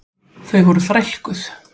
Þau voru þrælkuð.